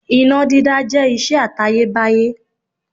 Iná dídá jẹ́ ìṣe àtayébáyé.